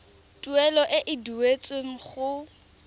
tuelo e e duetsweng go